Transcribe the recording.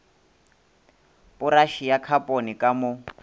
poraše ya khapone ka mo